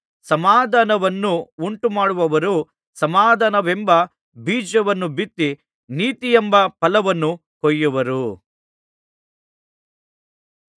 ಸಮಾಧಾನವನ್ನು ಉಂಟುಮಾಡುವವರು ಸಮಾಧಾನವೆಂಬ ಬೀಜವನ್ನು ಬಿತ್ತಿ ನೀತಿಯೆಂಬ ಫಲವನ್ನು ಕೊಯ್ಯುವರು